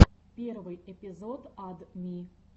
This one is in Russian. первый эпизод ад ми